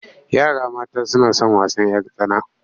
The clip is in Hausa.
Yara mata suna son wasan 'yar tsana.